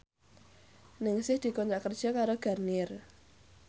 Ningsih dikontrak kerja karo Garnier